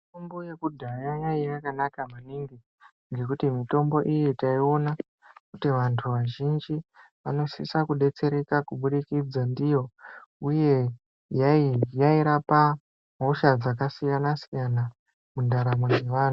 Mitombo yekudhaya yainge yakanaka maningi ngekuti mitombo iyi taiona kuti vantu vazhinji vanosisa kudetsereka Kuburikidza ndiyo uye yairapa hosha dzakasiyana siyana mundaramo yevantu.